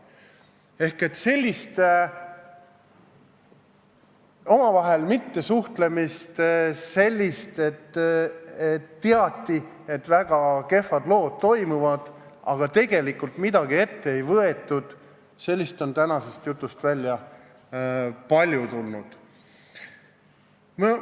Ehk sellist omavahel mittesuhtlemist, kui teati, et väga kehvad lood toimuvad, aga tegelikult midagi ette ei võetud, on tänasest jutust palju välja tulnud.